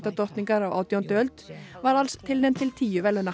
Bretadrottningar á átjándu öld var alls tilnefnd til tíu verðlauna